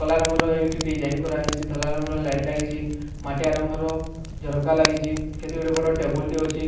କଲା ରଙ୍ଗର ଏଇଠି ଡିଜାଇନ କରାହେଇଚି ଧଲା ରଙ୍ଗର ଲାଇଟ ଲାଗିଚି ମାଟିଆ ରଙ୍ଗର ଝରକା ଲାଗିଚି କେତେ ଗୁଡ଼େ ବଡ ଟେବୁଲ ଟେ ଅଛି।